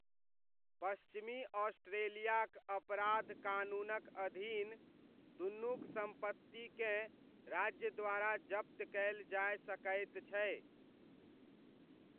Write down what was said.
पश्चिमी ऑस्ट्रेलियाक अपराध कानूनक अधीन, दुनुक सम्पत्तिकेँ राज्य द्वारा जप्त कयल जाय सकैत छै।